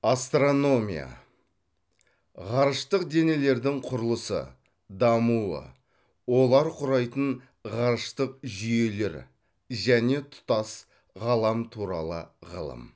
астрономия ғарыштық денелердің құрылысы дамуы олар құрайтын ғарыштық жүйелер және тұтас ғалам туралы ғылым